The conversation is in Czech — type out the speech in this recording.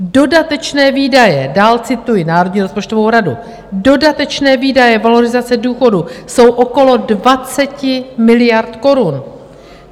Dodatečné výdaje" - dál cituji Národní rozpočtovou radu - "dodatečné výdaje valorizace důchodu jsou okolo 20 miliard korun.